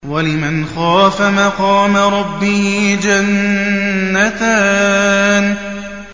وَلِمَنْ خَافَ مَقَامَ رَبِّهِ جَنَّتَانِ